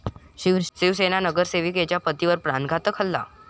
शिवसेना नगरसेविकेच्या पतीवर प्राणघातक हल्ला